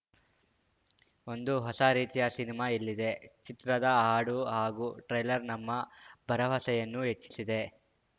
ಒಂದು ಹೊಸ ರೀತಿಯ ಸಿನಿಮಾ ಇಲ್ಲಿದೆ ಚಿತ್ರದ ಹಾಡು ಹಾಗೂ ಟ್ರೇಲರ್‌ ನಮ್ಮ ಭರವಸೆಯನ್ನು ಹೆಚ್ಚಿಸಿದೆ